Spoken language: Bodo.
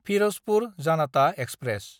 फिरजपुर जानाता एक्सप्रेस